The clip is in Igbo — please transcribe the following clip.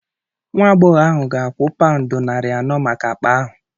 Nwa agbọghọ ahụ ga-akwụ paụndị narị anọ maka akpa ahụ.